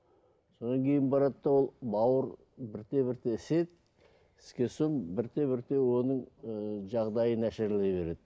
содан кейін барады да ол бауыр бірте бірте іседі іскен соң бірте бірте оның ыыы жағдайы нашарлай береді